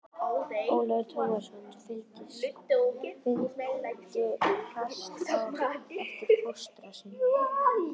Ólafur Tómasson fylgdi fast á eftir fóstra sínum.